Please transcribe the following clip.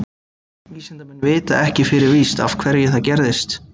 Vísindamenn vita ekki fyrir víst af hverju það gerist.